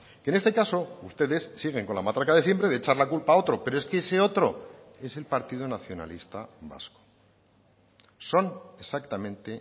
que en este caso ustedes siguen con la matraca de siempre de echar la culpa a otro pero es que ese otro es el partido nacionalista vasco son exactamente